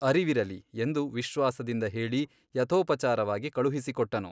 ಅರಿವಿರಲಿ ಎಂದು ವಿಶ್ವಾಸದಿಂದ ಹೇಳಿ ಯಥೋಪಚಾರವಾಗಿ ಕಳುಹಿಸಿಕೊಟ್ಟನು.